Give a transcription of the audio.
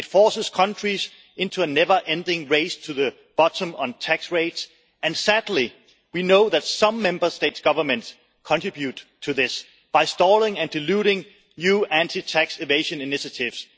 It forces countries into a never ending race to the bottom on tax rates and, sadly, we know that some Member State governments contribute to this by stalling and diluting new anti-tax evasion initiatives.